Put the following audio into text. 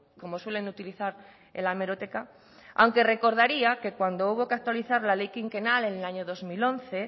como suelen utilizar en la hemeroteca aunque recordaría que cuando hubo que actualizar la ley quinquenal en el año dos mil once